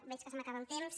veig que se m’acaba el temps